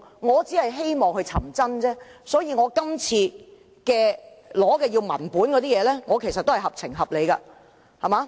我只是希望尋找真相，所以動議議案要求索取文件，其實合情合理。